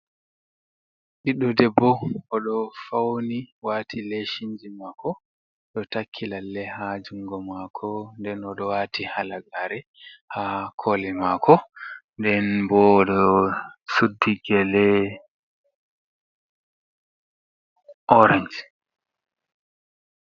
Ɓiddo debbo oɗo fauni wati leshinji mako, ɗo takki lalle ha jungo mako, nden oɗo wati halagare ha koli mako, nden bo oɗo suddi gele orange.